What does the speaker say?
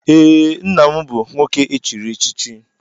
Ee, nna m bụ nwoke echiri echichi.